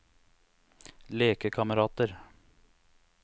lekekamerater